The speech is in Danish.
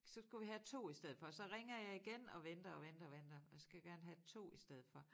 Så skulle vi have 2 i stedet for så ringer jeg igen og venter og venter og venter og jeg skal gerne have 2 i stedet for